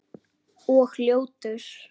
Og ljótur.